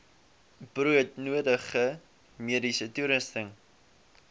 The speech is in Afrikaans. broodnodige mediese toerusting